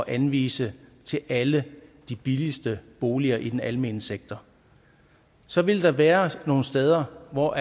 anvise til alle de billigste boliger i den almene sektor så vil der være nogle steder hvor